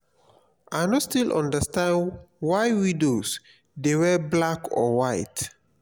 i no still understand why widows dey wear black or white